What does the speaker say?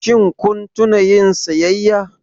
Shin kun tuna yin siyayya?